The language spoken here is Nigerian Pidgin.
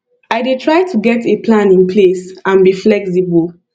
i dey try to get a plan in place and be flexible